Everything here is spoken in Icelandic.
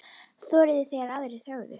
Þorði þegar aðrir þögðu.